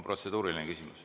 Protseduuriline küsimus.